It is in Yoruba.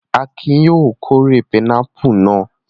Akin ni yóò kórè pinápù náà.